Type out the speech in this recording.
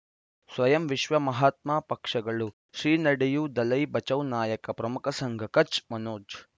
ಸ್ವಯಂ ವಿಶ್ವ ಮಹಾತ್ಮ ಪಕ್ಷಗಳು ಶ್ರೀ ನಡೆಯೂ ದಲೈ ಬಚೌ ನಾಯಕ ಪ್ರಮುಖ ಸಂಘ ಕಚ್ ಮನೋಜ್